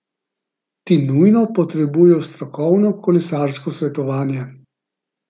Ti nujno potrebujejo strokovno kolesarsko svetovanje!